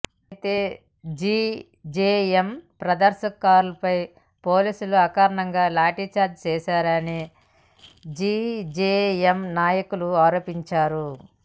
అయితే జీజేఎం ప్రదర్శనకారులపై పోలీసులు అకారణంగా లాఠీచార్జి చేశారని జీజేఎం నాయకులు ఆరోపించారు